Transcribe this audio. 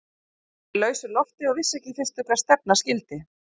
Ég var í lausu lofti og vissi ekki í fyrstu hvert stefna skyldi.